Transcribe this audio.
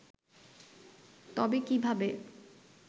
তবে কিভাবে